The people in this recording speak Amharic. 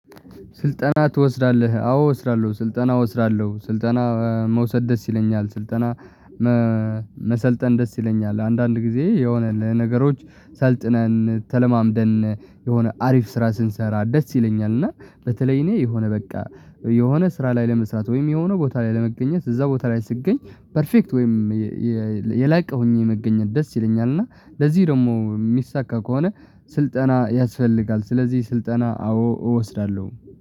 ስልጠና ትወስዳለህ አዎ እወስዳለሁ ስልጠና እወስዳለሁ ስልጠና መውሰድ ደስ ይለኛል ስልጠና መሰልጠን ደስ ይለኛል። አንዳንድ ጊዜ የሆነ ነገሮች ሰልጥነን ተለማምደን የሆነ አሪፍ ስራ ስንሰራ ደስ ይለኛል። እና በተለይ እኔ የሆነ በቃ የሆነ ስራ ላይ ለመስራት ወይም የሆነ ቦታ ላይ ለመገኘት እዛ ቦታ ላይ ስትገኝ ፐርፌክት ወይም የላቀውኝ የመገኘት ደስ ይለኛል። እና ለዚህ ደግሞ የሚሳካ ከሆነ ስልጠና ያስፈልጋል ስለዚህ ስልጠና አዎ እወስዳለሁ